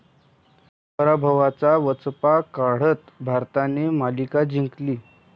पराभवाचा वचपा काढत भारताने मालिका जिंकली